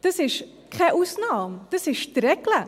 Das ist keine Ausnahme, das ist die Regel.